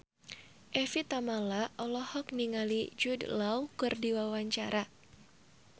Evie Tamala olohok ningali Jude Law keur diwawancara